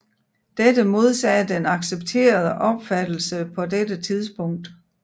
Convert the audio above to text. Dette modsagde den accepterede opfattelse på dette tidspunkt